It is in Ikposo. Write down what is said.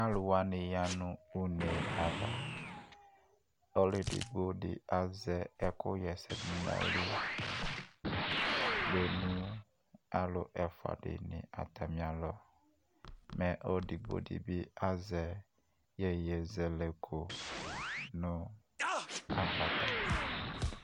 Alu wane ya no une ava Ɔlu edigbo de aza ɛko yɛsɛ do no ayili kpe no alu ɛfua de ne atame alɔ Mɛ alu edigbɔ de be azɛ yeyezɛlɛkɔ no agbata